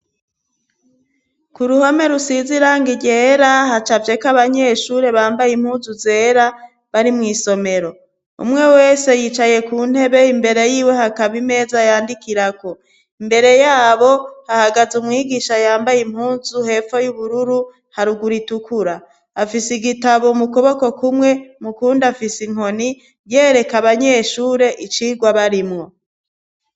Ku ruhome rusiziranga iyera hacavyeko abanyeshure bambaye impuzu zera bari mw'isomero umwe wese yicaye ku ntebe imbere yiwe hakaba imeza yandikirako imbere yabo hahagaze umwigisha yambaye impunzu hepfo y'ubururu haruguraitukura afise igie tabaumukoboko kumwe mu kundi afise inkoni yereka abanyeshure icirwa barimwo.